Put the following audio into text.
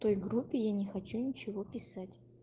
группе я не хочу ничего писать